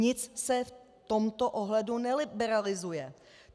Nic se v tomto ohledu neliberalizuje.